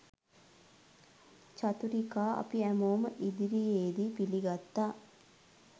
චතුරිකා අපි හැමෝම ඉදිරියේදී පිළිගත්තා